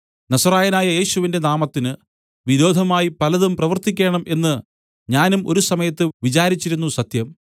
നസറായനായ യേശുവിന്റെ നാമത്തിന് വിരോധമായി പലതും പ്രവർത്തിക്കേണം എന്ന് ഞാനും ഒരുസമയത്ത് വിചാരിച്ചിരുന്നു സത്യം